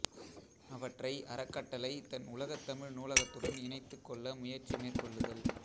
அவற்றை அறக்கட்டளை தன் உலகத்தமிழ் நூலகத்துடன் இணைத்துக் கொள்ள முயற்சி மேற்கொள்ளுதல்